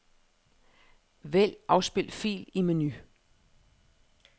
Vælg afspil fil i menu.